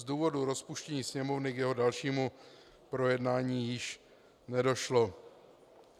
Z důvodu rozpuštění Sněmovny k jeho dalšímu projednání již nedošlo.